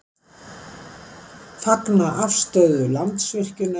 Fagna afstöðu Landsvirkjunar